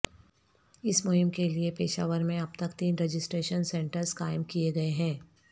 اس مہم کےلیئے پشاور میں اب تک تین رجسٹریشن سنٹرز قائم کیے گئے ہیں